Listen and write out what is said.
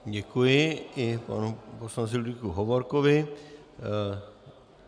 Děkuji i panu poslanci Ludvíku Hovorkovi.